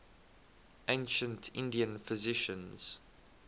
ancient indian physicians